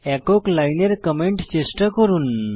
একক লাইনের কমেন্ট চেষ্টা করুন